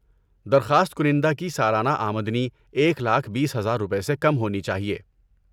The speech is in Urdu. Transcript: درخواست کنندہ کی سالانہ آمدنی ایک لاکھ بیس ہزار روپے سے کم ہونی چاہیے